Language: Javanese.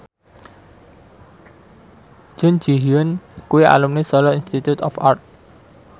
Jun Ji Hyun kuwi alumni Solo Institute of Art